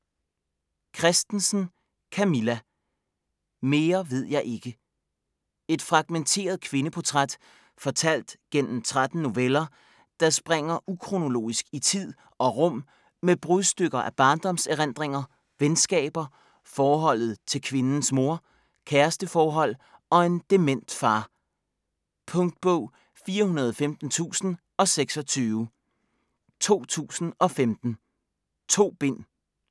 Christensen, Camilla: Mere ved jeg ikke Et fragmenteret kvindeportræt fortalt gennem 13 noveller, der springer ukronologisk i tid og rum med brudstykker af barndomserindringer, venskaber, forholdet til kvindens mor, kæresteforhold og en dement far. Punktbog 415026 2015. 2 bind.